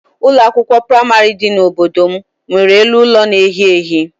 Ụlọ akwụkwọ praịmarị dị n'obodo m nwere elu ụlọ na-ehi ehi.